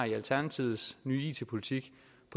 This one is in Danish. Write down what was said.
i alternativets nye it politik